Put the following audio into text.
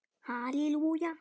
Það veit enginn.